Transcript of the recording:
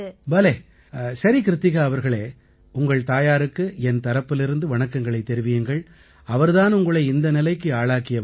பலே சரி கிருத்திகா அவர்களே உங்கள் தாயாருக்கு என் தரப்பிலிருந்து வணக்கங்களைத் தெரிவியுங்கள் அவர் தான் உங்களை இந்த நிலைக்கு ஆளாக்கியவர்